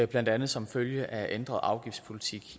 blandt andet som følge af en ændret afgiftspolitik